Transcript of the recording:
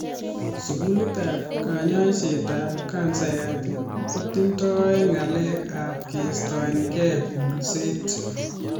Sugulit ap kanyaiset ap kansayat kotindoi ng'alek ap keistoekei kulset